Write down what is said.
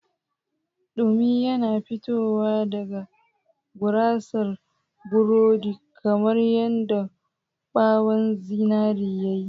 Dumi yana fitowa daga gurasar burodi kamar yadda ɓawon zinare ya yi.